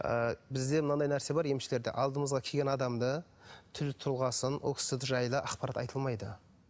ы бізде мынандай нәрсе бар емшілерде алдымызға келген адамды түр тұлғасын ол кісі жайлы ақпарат айтылмайды